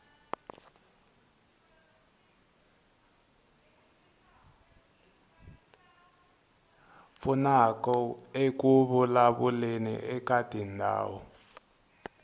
pfunaka eku vulavuleni eka tindhawu